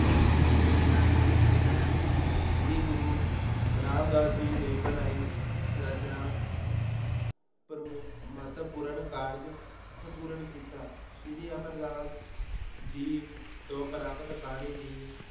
ਸ੍ਰੀ ਗੁਰੂ ਰਾਮਦਾਸ ਜੀ ਨੇ ਬਣਾਈ ਰਚਨਾ ਪ੍ਰਮੁ ਮਹੱਤਵਪੂਰਨ ਕਾਰਜ ਸੰਪੂਰਨ ਕੀਤਾ, ਸ੍ਰੀ ਅਮਰਦਾਸ ਜੀ ਤੋਂ ਪ੍ਰਾਪਤ ਬਾਣੀ ਦੀ